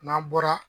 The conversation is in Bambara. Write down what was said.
N'an bɔra